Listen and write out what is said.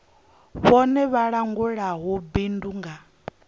vhone vha langulaho bindu nga